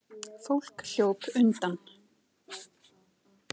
Fólk hljóp undan.